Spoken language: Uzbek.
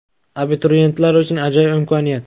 Abituriyentlar uchun ajoyib imkoniyat!.